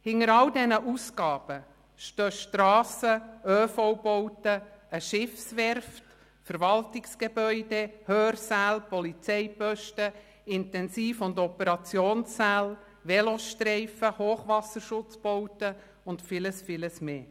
Hinter all diesen Ausgaben stehen Strassen, ÖV-Bauten, eine Schiffswerft, Verwaltungsgebäude, Hörsäle, Polizeiposten, Intensivstationen und Operationssäle, Velostreifen, Hochwasserschutzbauten und vieles, vieles mehr.